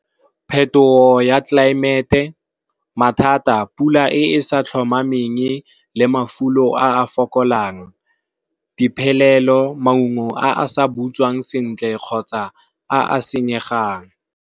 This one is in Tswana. Phetogo ya tlelaemete, mathata pula e e sa tlhomameng le mafulo a fokolang. Diphelelo maungo a a sa butswang sentle kgotsa a a senyega jang.